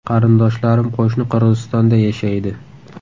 Qarindoshlarim qo‘shni Qirg‘izistonda yashaydi.